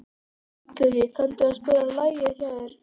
Illugi, kanntu að spila lagið „Hjá þér“?